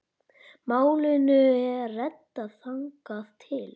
Málunum er reddað þangað til.